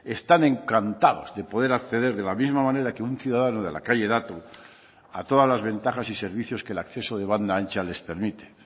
están encantados de poder acceder de la misma manera que un ciudadano de la calle dato a todas las ventajas y servicios que el acceso de banda ancha les permite